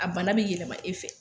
A bana be yɛlɛma e fɛ.